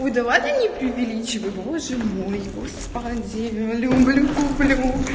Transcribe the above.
ну давай не преувеличивай боже мой господи люблю люблю